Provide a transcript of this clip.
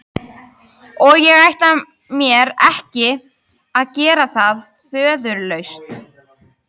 Og ég ætla mér ekki að gera það föðurlaust.